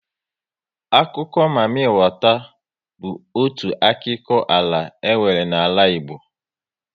Akụkọ mami wata bụ otu akiko ala e nwere n'ala Igbo *